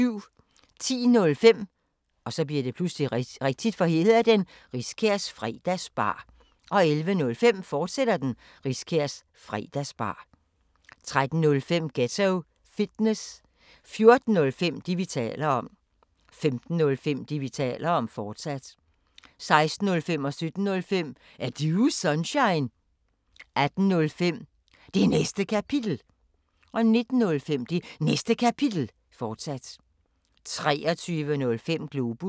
10:05: Riskærs Fredagsbar 11:05: Riskærs Fredagsbar, fortsat 13:05: Ghetto Fitness 14:05: Det, vi taler om 15:05: Det, vi taler om, fortsat 16:05: Er Du Sunshine? 17:05: Er Du Sunshine? 18:05: Det Næste Kapitel 19:05: Det Næste Kapitel, fortsat 23:05: Globus